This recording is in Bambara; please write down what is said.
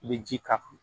I bɛ ji k'a kan